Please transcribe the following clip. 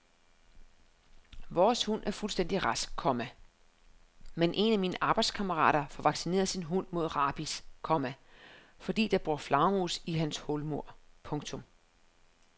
Vores hund er fuldstændig rask, komma men en af mine arbejdskammerater får vaccineret sin hund mod rabies, komma fordi der bor flagermus i hans hulmur. punktum